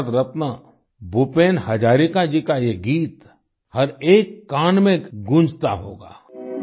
भारत रत्न भूपेन हज़ारिका जी का ये गीत हर एक कान में गूँजता होगा